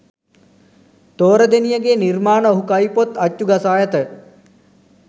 තෝරදෙණියගේ නිර්මාණ ඔහු කවි පොත් අච්චු ගසා ඇත